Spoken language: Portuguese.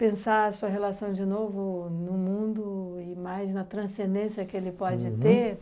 Pensar a sua relação de novo no mundo e mais na transcendência que ele pode ter. Uhum.